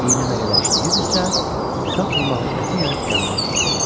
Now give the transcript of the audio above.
İynə nə qədər işləyirdisə, sap yumağı qətiyyən tükənmək bilmirdi.